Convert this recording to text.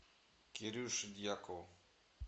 кирюше дьякову